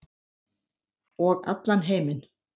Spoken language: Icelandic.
Og allan heiminn.